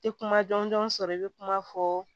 Tɛ kuma jɔnjɔn sɔrɔ i bɛ kuma fɔ